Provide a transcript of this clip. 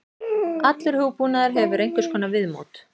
Allur hugbúnaður hefur einhvers konar viðmót.